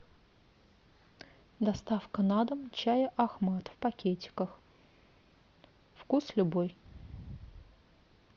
доставка на дом чая ахмад в пакетиках вкус любой